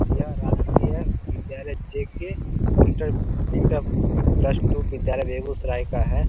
यह राजकीय विद्यालय J K. Inter inter plus two विद्यालय बेगुसराय का है।